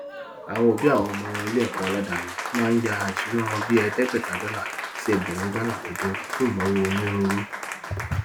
àwọn òbí àwọn ọmọ iléẹkọ aládàáni máa ń yá isúná bíi ẹẹdẹgbẹta dọlà sí ẹgbẹrún dọlà lọdún fún ináwó onírúurú